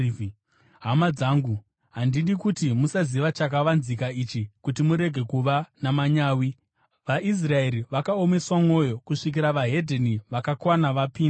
Hama dzangu, handidi kuti musaziva, chakavanzika ichi, kuti murege kuva namanyawi: vaIsraeri vakaomeswa mwoyo kusvikira veDzimwe Ndudzi vakakwana vapinda.